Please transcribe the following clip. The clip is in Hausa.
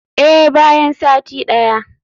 Eh, bayan sati daya.